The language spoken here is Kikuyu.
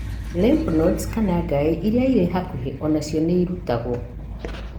Lymph nodes iria irĩ hakuhĩ o nacio nĩ ĩrutagũo.